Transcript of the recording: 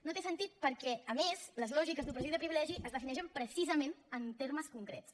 no té sentit perquè a més les lògiques d’opressió i de privilegi es defineixen precisament en termes concrets